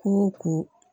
Kun ko